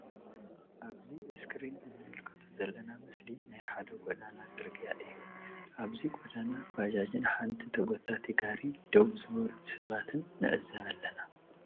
ኣብዚ እስክሪን እንምልከቶ ዘለና ምስሊ ናይ ሓደ ጎዳና ጽርግያ እዩ። ኣብዚ ጎዳና ባጃጅ ን ሓንቲ ተጎታቲ ጋሪ ደው ዝበሉ ሰባትን ንዕዘብ ኣለና።